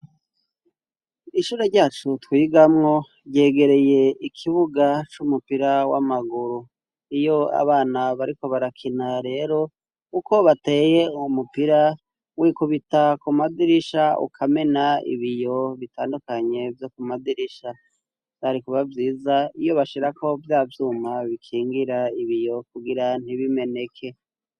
Ishure ryacu twigamwo ryegereye ikibuga c'umupira w'amaguru. Iyo abana bariko barakina rero kuko bateye umupira w'ikubita ku madirisha ukamena ibiyo bitandukanye byo ku madirisha byari kuba byiza iyo bashira ko byavyuma bikingira ibiyo kugira ntibimeneke.